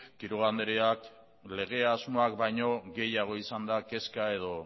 quiroga andreak lege asmoak baino gehiago izan da kezka edo